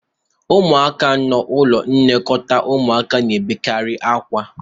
ụmụaka n'ụlọ nlekọta ụmụaka na-ebekarị akwa